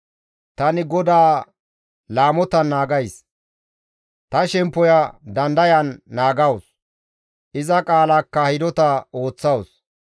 Tani GODAA laamotan naagays; ta shemppoya dandayan naagawus; iza qaalaakka hidota ooththawus.